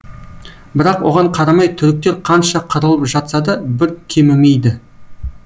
бірақ оған қарамай түріктер қанша қырылып жатса да бір кемімейді